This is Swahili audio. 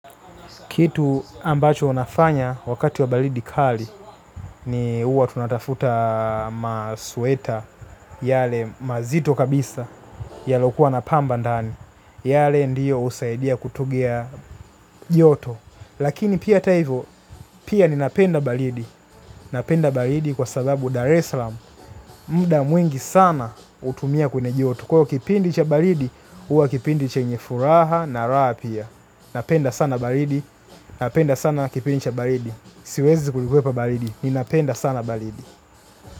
Kitu ambacho nafanya wakati wa balidi kali, ni huwa tunatafuta masweta yale mazito kabisa, yalokuwa na pamba ndani, yale ndio husaidia kutugia joto. Lakini pia hata hivo, pia ninapenda balidi, napenda balidi kwa sababu Dar esalam, muda mwingi sana hutumia kune joto. Kwa hiyo kipindi cha balidi, huwa kipindi chenye furaha na raha pia. Napenda sana balidi, napenda sana kipindi cha balidi. Siwezi kulikwepa balidi, ninapenda sana balidi.